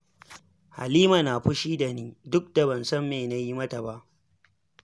Halima na fushi da ni, duk da ban san me na yi mata ba